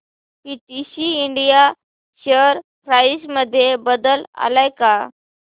PTC India share price मध्ये बदल आलाय का